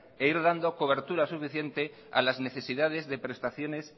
e ir dando cobertura suficiente a las necesidades de prestaciones